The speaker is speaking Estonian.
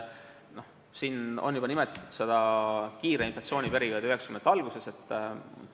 Siin sai juba nimetatud kiire inflatsiooni perioodi 1990-ndate alguses.